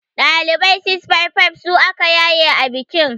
Ɗalibai 655 su aka yaye a bikin.